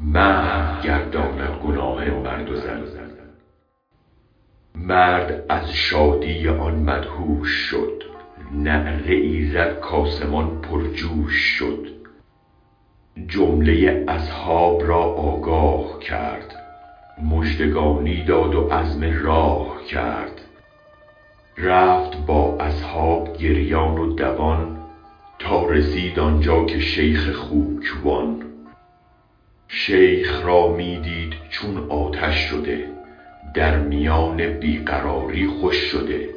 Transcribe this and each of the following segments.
محو گرداند گناه مرد و زن مرد از شادی آن مدهوش شد نعره ای زد کآسمان پرجوش شد جمله اصحاب را آگاه کرد مژدگانی داد و عزم راه کرد رفت با اصحاب گریان و دوان تا رسید آنجا که شیخ خوک وان شیخ را می دید چون آتش شده در میان بی قراری خوش شده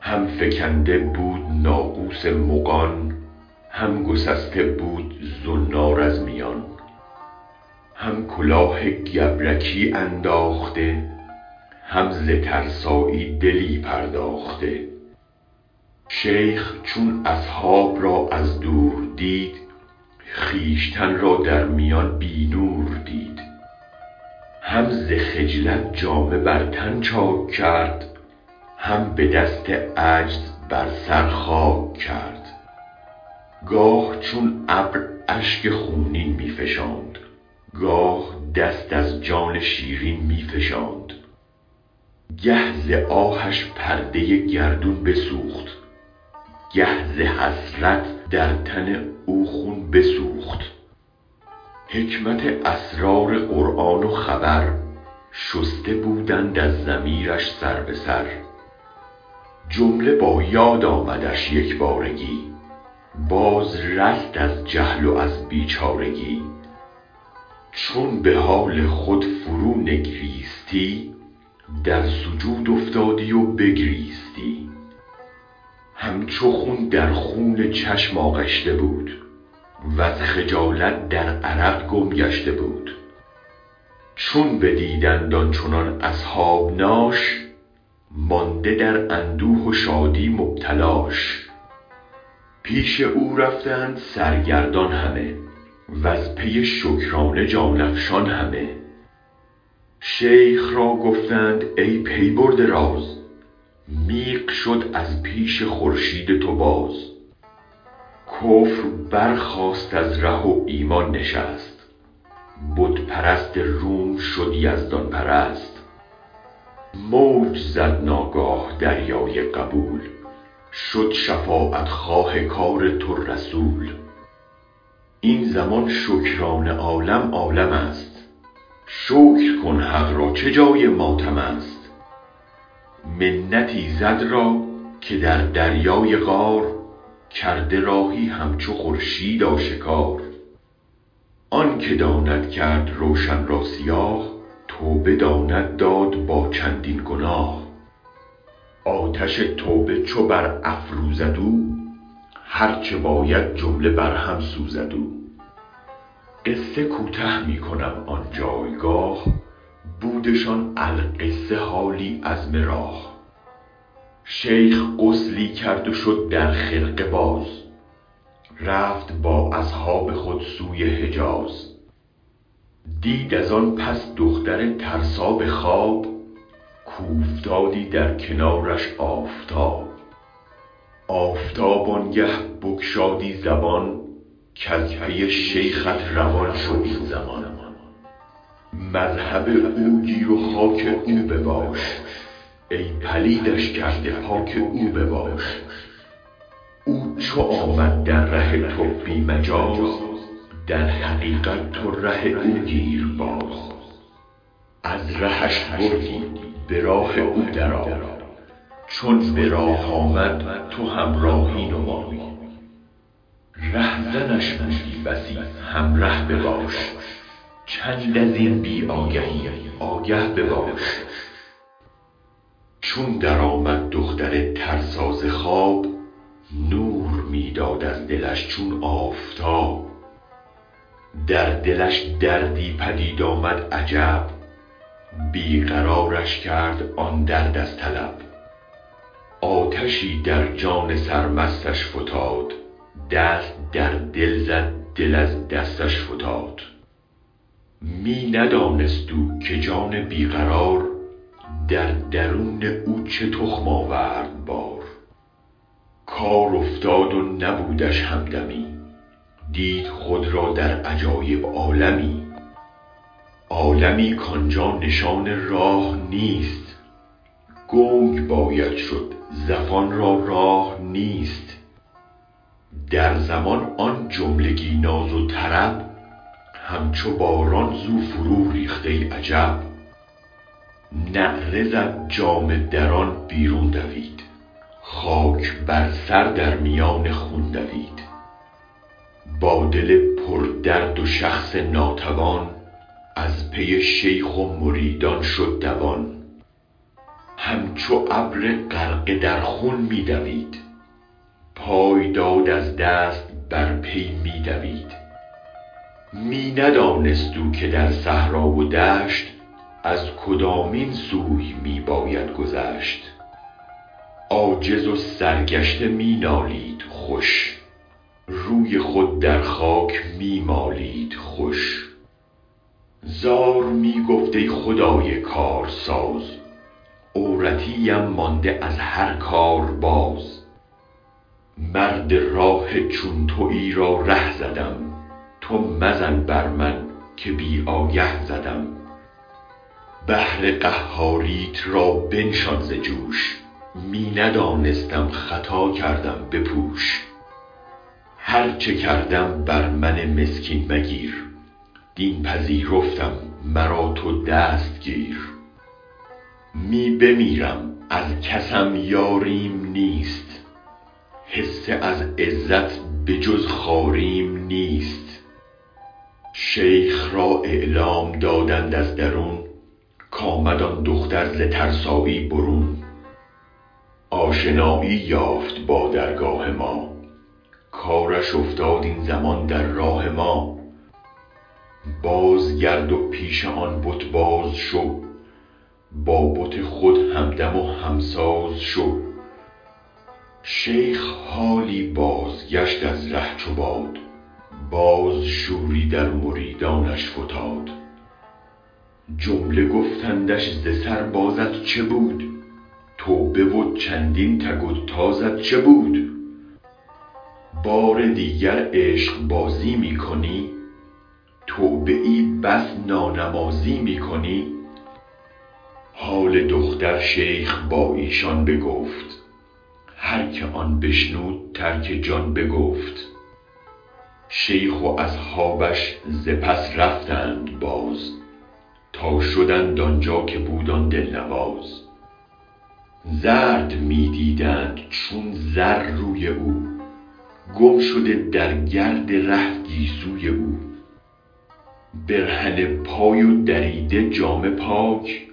هم فکنده بود ناقوس مغان هم گسسته بود زنار از میان هم کلاه گبرکی انداخته هم ز ترسایی دلی پرداخته شیخ چون اصحاب را از دور دید خویشتن را در میان بی نور دید هم ز خجلت جامه بر تن چاک کرد هم به دست عجز بر سر خاک کرد گاه چون ابر اشک خونین می فشاند گاه دست از جان شیرین می فشاند گه ز آهش پرده گردون بسوخت گه ز حسرت در تن او خون بسوخت حکمت اسرار قرآن و خبر شسته بودند از ضمیرش سر به سر جمله با یاد آمدش یکبارگی باز رست از جهل و از بیچارگی چون به حال خود فرو نگریستی در سجود افتادی و بگریستی همچو گل در خون چشم آغشته بود وز خجالت در عرق گم گشته بود چون بدیدند آنچنان اصحابناش مانده در اندوه و شادی مبتلاش پیش او رفتند سرگردان همه وز پی شکرانه جان افشان همه شیخ را گفتند ای پی برده راز میغ شد از پیش خورشید تو باز کفر برخاست از ره و ایمان نشست بت پرست روم شد یزدان پرست موج زد ناگاه دریای قبول شد شفاعت خواه کار تو رسول این زمان شکرانه عالم عالمست شکر کن حق را چه جای ماتمست منت ایزد را که در دریای قار کرده راهی همچو خورشید آشکار آن که داند کرد روشن را سیاه توبه داند داد با چندین گناه آتش توبه چو بر افروزد او هرچه باید جمله بر هم سوزد او قصه کوته می کنم آن جایگاه بودشان القصه حالی عزم راه شیخ غسلی کرد و شد در خرقه باز رفت با اصحاب خود سوی حجاز دید از آن پس دختر ترسا به خواب کاوفتادی در کنارش آفتاب آفتاب آنگاه بگشادی زبان کز پی شیخت روان شو این زمان مذهب او گیر و خاک او بباش ای پلیدش کرده پاک او بباش او چو آمد در ره تو بی مجاز در حقیقت تو ره او گیر باز از رهش بردی به راه او درآی چون به راه آمد تو همراهی نمای رهزنش بودی بسی همره بباش چند ازین بی آگهی آگه بباش چون درآمد دختر ترسا ز خواب نور می داد از دلش چون آفتاب در دلش دردی پدید آمد عجب بی قرارش کرد آن درد از طلب آتشی در جان سرمستش فتاد دست در دل زد دل از دستش فتاد می ندانست او که جان بی قرار در درون او چه تخم آورد بار کار افتاد و نبودش همدمی دید خود را در عجایب عالمی عالمی کآنجا نشان راه نیست گنگ باید شد زفان را راه نیست در زمان آن جملگی ناز و طرب همچو باران زو فروریخت ای عجب نعره زد جامه دران بیرون دوید خاک بر سر در میان خون دوید با دل پردرد و شخص ناتوان از پی شیخ و مریدان شد دوان هم چو ابر غرقه در خوی می دوید پای داد از دست بر پی می دوید می ندانست او که در صحرا و دشت از کدامین سوی می باید گذشت عاجز و سرگشته می نالید خوش روی خود در خاک می مالید خوش زار می گفت ای خدای کارساز عورتی ام مانده از هر کار باز مرد راه چون تویی را ره زدم تو مزن بر من که بی آگه زدم بحر قهاریت را بنشان ز جوش می ندانستم خطا کردم بپوش هرچه کردم بر من مسکین مگیر دین پذیرفتم مرا تو دست گیر می بمیرم از کسم یاریم نیست حصه از عزت به جز خواریم نیست شیخ را اعلام دادند از درون کآمد آن دختر ز ترسایی برون آشنایی یافت با درگاه ما کارش افتاد این زمان در راه ما باز گرد و پیش آن بت باز شو با بت خود همدم و همساز شو شیخ حالی بازگشت از ره چو باد باز شوری در مریدانش فتاد جمله گفتندش ز سر بازت چه بود توبه و چندین تک و تازت چه بود بار دیگر عشق بازی می کنی توبه ای بس نانمازی می کنی حال دختر شیخ با ایشان بگفت هرکه آن بشنود ترک جان بگفت شیخ و اصحابش ز پس رفتند باز تا شدند آنجا که بود آن دل نواز زرد می دیدند چون زر روی او گم شده در گرد ره گیسوی او برهنه پای و دریده جامه پاک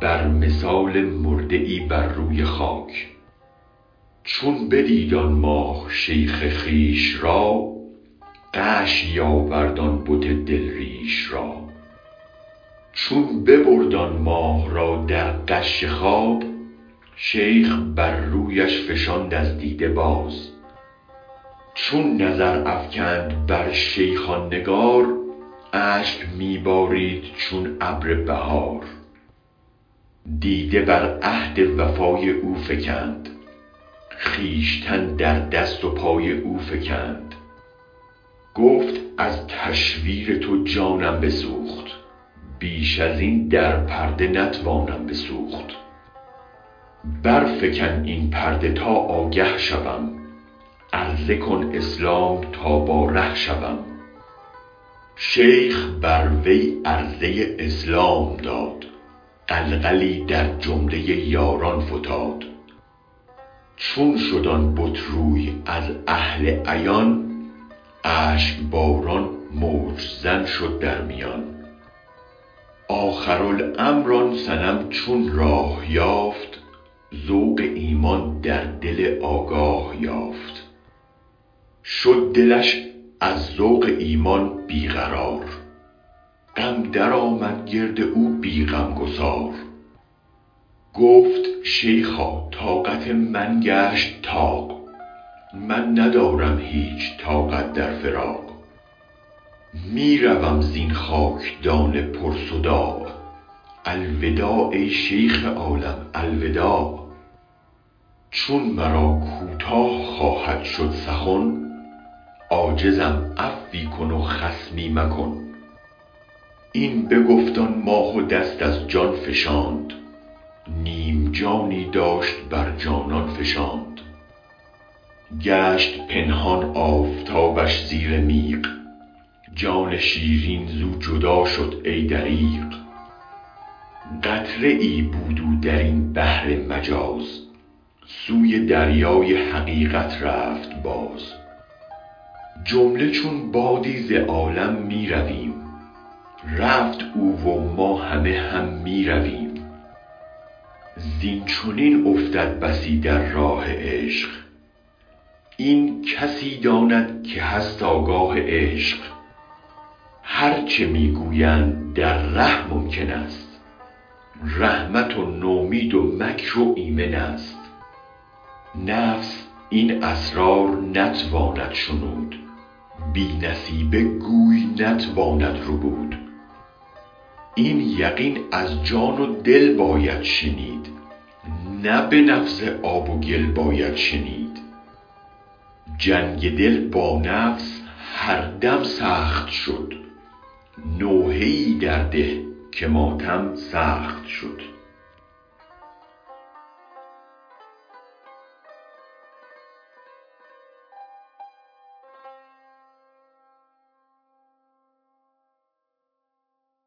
بر مثال مرده ای بر روی خاک چون بدید آن ماه شیخ خویش را غشی آورد آن بت دل ریش را چون ببرد آن ماه را در غش خواب شیخ بر رویش فشاند از دیده آب چون نظر افکند بر شیخ آن نگار اشک می بارید چون ابر بهار دیده بر عهد وفای او فکند خویشتن در دست و پای او فکند گفت از تشویر تو جانم بسوخت بیش ازین در پرده نتوانم بسوخت برفکن این پرده تا آگه شوم عرضه کن اسلام تا با ره شوم شیخ بر وی عرضه اسلام داد غلغلی در جمله یاران فتاد چون شد آن بت روی از اهل عیان اشک باران موج زن شد در میان آخر الامر آن صنم چون راه یافت ذوق ایمان در دل آگاه یافت شد دلش از ذوق ایمان بی قرار غم درآمد گرد او بی غمگسار گفت شیخا طاقت من گشت طاق من ندارم هیچ طاقت در فراق می روم زین خاکدان پر صداع الوداع ای شیخ عالم الوداع چون مرا کوتاه خواهد شد سخن عاجزم عفوی کن و خصمی مکن این بگفت آن ماه و دست از جان فشاند نیم جانی داشت بر جانان فشاند گشت پنهان آفتابش زیر میغ جان شیرین زو جدا شد ای دریغ قطره ای بود او درین بحر مجاز سوی دریای حقیقت رفت باز جمله چون بادی ز عالم می رویم رفت او و ما همه هم می رویم زین چنین افتد بسی در راه عشق این کسی داند که هست آگاه عشق هرچه می گویند در ره ممکن است رحمت و نومید و مکر و ایمن است نفس این اسرار نتواند شنود بی نصیبه گوی نتواند ربود این یقین از جان و دل باید شنید نه به نفس آب و گل باید شنید جنگ دل با نفس هر دم سخت شد نوحه ای در ده که ماتم سخت شد